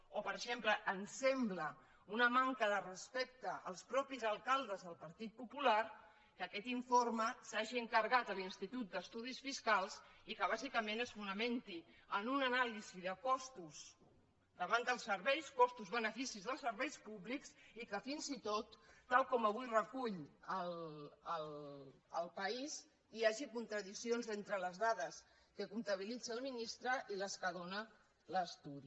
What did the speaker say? o per exemple ens sembla una manca de respecte als mateixos alcaldes del partit popular que aquest informe s’hagi encarregat a l’institut d’estudis fiscals i que bàsicament es fonamenti en una anàlisi de costos davant dels serveis costos i beneficis dels serveis públics i que fins i tot tal com avui recull el paíshagi contradiccions entre les dades que comptabilitza el ministre i les que dóna l’estudi